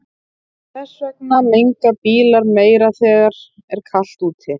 Þess vegna menga bílar meira þegar er kalt úti.